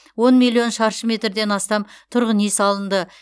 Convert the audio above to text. он миллион шаршы метрден астам тұрғын үй салынды